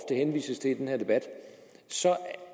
rimelige system ville være